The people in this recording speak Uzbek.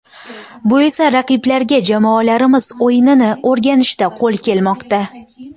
Bu esa raqiblarga jamoalarimiz o‘yinini o‘rganishda qo‘l kelmoqda.